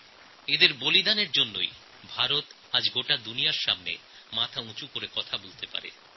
এঁদের আত্মবলিদানের জন্যই আজ ভারত সারা বিশ্বে মাথা উঁচু করে কথা বলতে পারছে